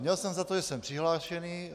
Měl jsem za to, že jsem přihlášený.